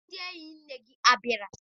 Ndị enyi nne gị abịala?